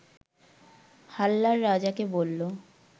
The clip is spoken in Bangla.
হাল্লার রাজাকে বলল